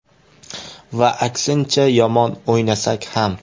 Va aksincha, yomon o‘ynasak ham.